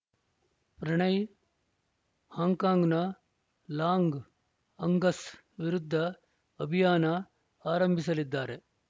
ಪ್ರಣಯ್‌ ಹಾಂಕಾಂಗ್‌ನ Long Angus ವಿರುದ್ಧ ಅಭಿಯಾನ ಆರಂಭಿಸಲಿದ್ದಾರೆ